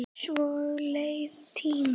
Svo leið tíminn.